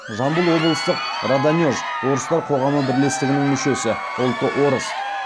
жамбыл облыстық раданеж орыстар қоғамы бірлестігінің мүшесі ұлты орыс